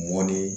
Mɔni